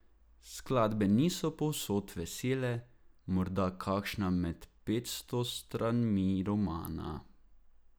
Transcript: Skladbe niso povsod vesele, morda kakšna med petsto stranmi romana.